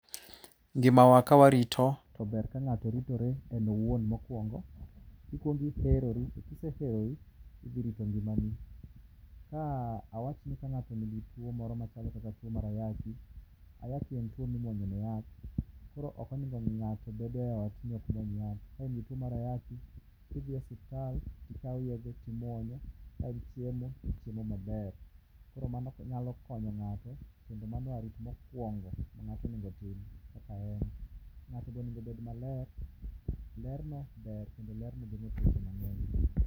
Ngimawa ka warito to ber ka ng'ato ritore owuon mokuongo. Ikuongo iherori, kise herori to idhi rito ngimani. Ah awach ni ka ng'ato nigi tuo moro machalo kaka tuo mar ayaki. Ayaki en tuo mimuonyone yath, koro ok onego ng'ato bedo e ot ni ok muony yath. Ka in gi tuo mar ayaki to idhi e osiptal tikawo yedhe timuonyo, kaeto chiemo ichiemo maber. Koro mago nyalo konyo ng'ato kendo mano e arit mokuongo ma ng'ato onego otim kaka en. ng'ato be onego obed maler, lerno ber kendo lerno geng'o tuoche mangeny